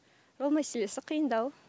жол мәселесі қиындау